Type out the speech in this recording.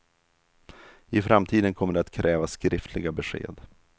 I framtiden kommer det att krävas skriftliga besked.